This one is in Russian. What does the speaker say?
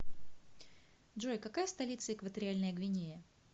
джой какая столица экваториальная гвинея